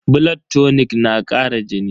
Blood tonic na kara jini?